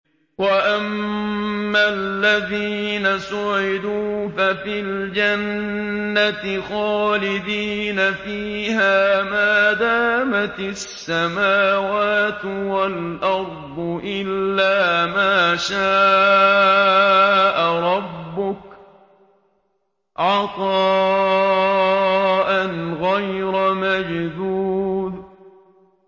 ۞ وَأَمَّا الَّذِينَ سُعِدُوا فَفِي الْجَنَّةِ خَالِدِينَ فِيهَا مَا دَامَتِ السَّمَاوَاتُ وَالْأَرْضُ إِلَّا مَا شَاءَ رَبُّكَ ۖ عَطَاءً غَيْرَ مَجْذُوذٍ